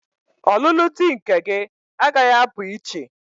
Ọlụlụ di nke gị agaghị apụ iche!